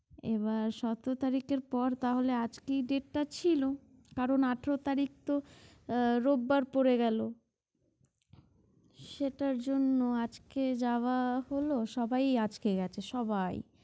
এবার সতেরো তারিখের পর তাহলে আজকেই date টা ছিল কারণ আঠারো তারিখ তো আহ রোববার পড়ে গেল। সেটার জন্য আজকে যাওয়া হলো সবাই আজকে গেছে সবাই।